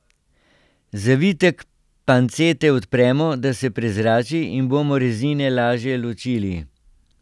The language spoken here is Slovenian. Zavitek pancete odpremo, da se prezrači in bomo rezine lažje ločili.